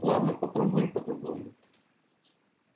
ладно попробуем по-другому